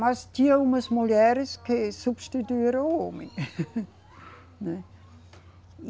Mas tinha umas mulheres que substituíram o homem. Né